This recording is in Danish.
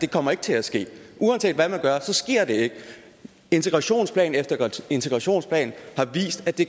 kommer til at ske uanset hvad man gør så sker det ikke integrationsplan efter integrationsplan har vist at det